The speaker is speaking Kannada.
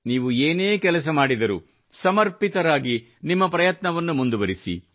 ನೀವು ಏನೇ ಕೆಲಸ ಮಾಡಿದರೂ ಸಮರ್ಪಿತರಾಗಿ ನಿಮ್ಮ ಪ್ರಯತ್ನವನ್ನು ಮುಂದುವರಿಸಿ